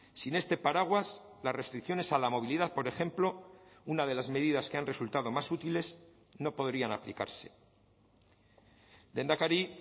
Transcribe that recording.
sin este paraguas las restricciones a la movilidad por ejemplo una de las medidas que han resultado más útiles no podrían aplicarse lehendakari